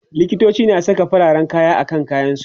likitoci na Saka farin kaya akan kayan su